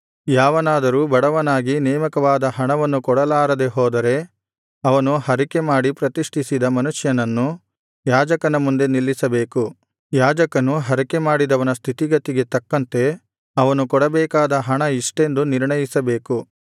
ಯಾವನಾದರೂ ಬಡವನಾಗಿ ನೇಮಕವಾದ ಹಣವನ್ನು ಕೊಡಲಾರದೆ ಹೋದರೆ ಅವನು ಹರಕೆಮಾಡಿ ಪ್ರತಿಷ್ಠಿಸಿದ ಮನುಷ್ಯನನ್ನು ಯಾಜಕನ ಮುಂದೆ ನಿಲ್ಲಿಸಬೇಕು ಯಾಜಕನು ಹರಕೆಮಾಡಿದವನ ಸ್ಥಿತಿಗತಿಗೆ ತಕ್ಕಂತೆ ಅವನು ಕೊಡಬೇಕಾದ ಹಣ ಇಷ್ಟೆಂದು ನಿರ್ಣಯಿಸಬೇಕು